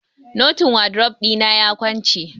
Notin wadrof ɗina ya kwance.